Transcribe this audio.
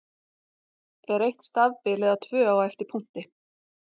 Er eitt stafbil eða tvö á eftir punkti?